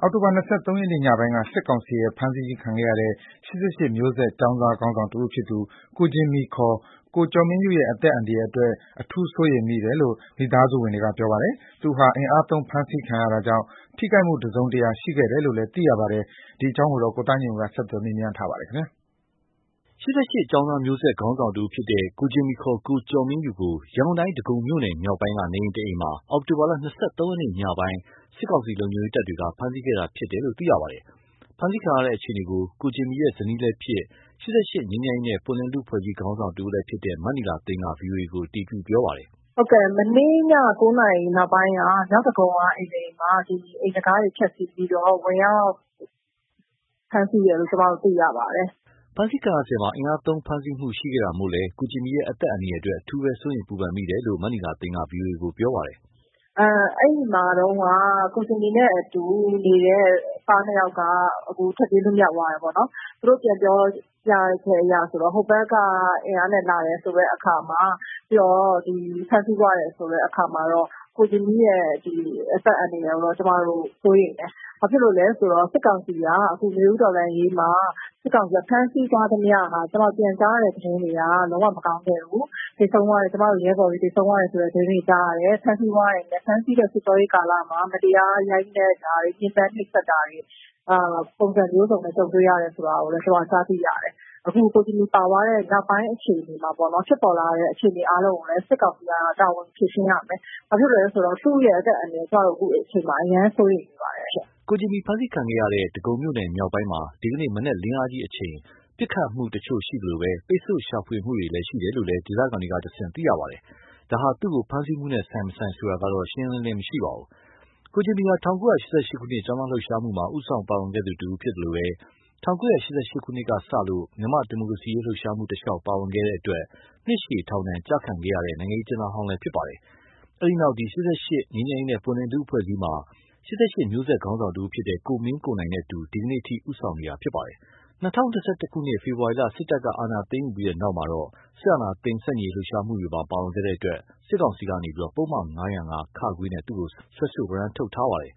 အောက်တိုဘာ ၂၃ ရက်နေ့ ညပိုင်းက စစ်ကောင်စီရဲ့ ဖမ်းဆီးခြင်း ခံခဲ့ရတဲ့ ၈၈ မျိုးဆက် ခေါင်းဆောင်တဦးဖြစ်တဲ့ ကိုဂျင်မီ ခေါ် ကိုကျော်မင်းယုရဲ့ အသက်အန္တရာယ်အတွက် အထူးစိုးရိမ်မိတယ်လို့ မိသားစုဝင်တွေက ပြောပါတယ်။ သူဟာ အင်အားသုံး ဖမ်းဆီးခံရတာကြောင့် ထိခိုက်မှုတစုံတရာ ရှိခဲ့တယ်လို့လည်း သိရပါတယ်။ ဒီအကြောင်း ကိုသားညွန့်ဦး ဆက်သွယ်မေးမြန်းထားပါတယ်။ ၈၈ ကျောင်းသားမျိုးဆက် ခေါင်းဆောင်တဦးဖြစ်တဲ့ ကိုဂျင်မီ ခေါ် ကိုကျော်မင်းယုကို ရန်ကုန်တိုင်း ဒဂုံမြို့သစ် (မြောက်ပိုင်း) က နေအိမ်တအိမ်မှာ အောက်တိုဘာလ ၂၃ ရက်နေ့ ညပိုင်းမှာ စစ်ကောင်စီ လုံခြုံရေးတပ်တွေက ဖမ်းဆီးခဲ့တာဖြစ်တယ်လို့ သိရပါတယ်။ ဖမ်းဆီးခံရတဲ့ အခြေအနေကို ကိုဂျင်မီရဲ့ ဇနီးလည်းဖြစ် ၈၈ ငြိမ်းချမ်းရေးနဲ့ ပွင့်လင်းလူ့အဖွဲ့အစည်း ခေါင်းဆောင်တဦးလည်းဖြစ်တဲ့ မနီလာသိန်းက ဗွီအိုအေကို အတည်ပြုပါတယ်။ “မနေ့ည ၉ နာရီနောက်ပိုင်းက မြောက်ဒဂုံက အိမ်တအိမ်မှာ အိမ်တံခါးတွေ ဖျက်ဆီးပြီးတော့ ဝင်ရောက်ဖမ်းဆီးတယ်လို့ ကျမတို့ သိရပါတယ်။” ဖမ်းဆီးစဉ်မှာ အင်အားသုံးဖမ်းဆီးမှု ရှိခဲ့တာမို့လည်း ကိုဂျင်မီရဲ့ အသက်အန္တရာယ်အတွက် အထူးစိုးရိမ်ပူပန်မိတယ်လို့လည်း မနီလာသိန်းက ပြောပါတယ်။ “အဲဒီမှာတုန်းက ကိုဂျင်မီနဲ့ အတူနေတဲ့ သားနှစ်ယောက်က ထွက်ပြေးလွတ်မြောက်သွားတယ်။ သူတို့ ပြန်ပြောပြချက်အရ ဟိုဘက်က အင်အားနဲ့လာတယ်ဆိုတဲ့အခါမှာ၊ ပြီးတော့ ဖမ်းဆီးသွားတယ်ဆိုတဲ့အခါမှာ ကိုဂျင်မီရဲ့ အသက်အန္တရာယ်ကိုတော့ ကျမတို့ စိုးရိမ်တယ်။ ဘာဖြစ်လို့လဲဆိုတော့ စစ်ကောင်စီက အခု နွေဦးတော်လှန်ရေးမှာ ဖမ်းဆီးထားသမျှဟာ ကျမတို့ ပြန်ကြားတဲ့ သတင်းတွေအရ လုံးဝမကောင်းခဲ့ဘူး။ ကျမတို့ရဲဘော်တွေ သေဆုံးသွားတဲ့ သတင်းတွေ ကြားရတယ်။ ဖမ်းဆီးတဲ့ စစ်ကြောရေးကာလမှာ မတရားရိုက်နှက်တာတွေ ညှဉ်းပန်းနှိပ်စက်တာတွေ ပုံစံမျိုးစုံနဲ့ ကြုံတွေ့ရတယ်ဆိုတာကိုလည်း ကျမတို့ ကြားသိရတယ်။ အခု ကိုဂျင်မီပါသွားတဲ့ နောက်ပိုင်းအခြေအနေမှာ ဖြစ်ပေါ်လာတဲ့ အခြေအနေ အားလုံးကိုလည်း စစ်ကောင်စီက တာဝန်ယူ ဖြေရှင်းရမယ်။ ဘာဖြစ်လို့လဲဆိုတော့ သူ့ရဲ့ အသက်အန္တရာယ်ကို အခုအချိန်မှာ ကျမတို့ အရမ်းစိုးရိမ်နေပါတယ်။” ကိုဂျင်မီ ဖမ်းဆီးခံရတဲ့ ဒဂုံမြို့သစ် (မြောက်ပိုင်း) မှာ ဒီကနေ့မနက် လင်းအားကြီးအချိန်မှာ ပစ်ခတ်မှုတချို့ ရှိသလို ပိတ်ဆို့ရှာဖွေမှုတွေ ရှိနေတယ်လို့လည်း ဒေသခံတွေကတဆင့် သိရပါတယ်။ ဒါဟာ သူ့ကိုဖမ်းဆီးမှုနဲ့ ဆိုင်မဆိုုင်ဆိုတာတော့ ရှင်းရှင်းလင်းလင်း မရှိပါဘူး။ ကိုဂျင်မီဟာ ၁၉၈၈ ကျောင်းသားလှုပ်ရှားမှုမှာ ဦးဆောင်ပါဝင်ခဲ့သူတဦး ဖြစ်သလို ၁၉၈၈ ကစလို့ မြန်မာ့ဒီမိုကရေစီရေး လှုပ်ရှားမှုတလျှောက် ပါဝင်ခဲ့တဲ့အတွက် နှစ်ရှည်ထောင်ဒဏ် ကျခံခဲ့ရတဲ့ နိုင်ငံရေးအကျဉ်းဟောင်းလည်း ဖြစ်ပါတယ်။ အဲဒီနောက် ၈၈ ငြိမ်းချမ်းရေးနဲ့ ပွင့်လင်းလူ့အဖွဲ့အစည်းမှာ ၈၈ မျိုးဆက် ခေါင်းဆောင်တဦးဖြစ်တဲ့ ကိုမင်းကိုနိုင်နဲ့အတူ ဒီကနေ့အထိ ဦးဆောင်နေသူ ဖြစ်ပါတယ်။ ၂၀၂၁ ဖေဖော်ဝါရီလ စစ်တပ်က အာဏာသိမ်းယူပြီးတဲ့နောက်မှာ စစ်အာဏာသိမ်း ဆန့်ကျင်လှုပ်ရှားမှုတွေမှာ ပါဝင်ခဲ့လို့ စစ်ကောင်စီကနေ သူ့ကို ပုဒ်မ ၅၀၅(ခ) နဲ့ စွဲဆို ဝရမ်းထုတ်ထားပါတယ်။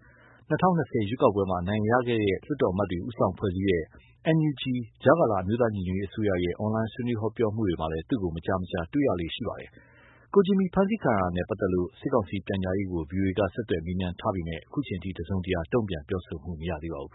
၂၀၂၀ ရွေးကောက်ပွဲမှာ အနိုင်ရ လွှတ်တော်အမတ်တွေ ဦးဆောင်ဖွဲ့စည်းတဲ့ NUG ကြားကာလ အမျိုးသားညီညွတ်ရေးအစိုးရရဲ့ အွန်လိုင်း ဆွေးနွေးဟောပြောမှုတွေမှာလည်း သူ့ကို မကြာခဏ တွေ့ရလေ့ရှိပါတယ်။ ကိုဂျင်မီ ဖမ်းဆီးခံရတာနဲ့ ပတ်သက်လို့ စစ်ကောင်စီ ပြန်ကြားရေးကို ဗွီအိုအေက ဆက်သွယ်မေးမြန်းထားပေမယ့် ခုအချိန်အထိ တစုံတရာ တုံ့ပြန်ပြောဆိုမှု မရသေးပါဘူး